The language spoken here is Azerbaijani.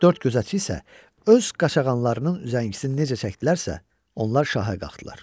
Dörd gözətçi isə öz qaçağanlarının üzəngisini necə çəkdilərsə, onlar şaha qalxdılar.